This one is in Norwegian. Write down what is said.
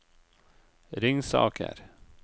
Ringsaker